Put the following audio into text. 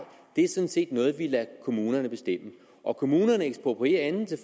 er sådan set noget vi lader kommunerne bestemme og kommunerne eksproprierer enten til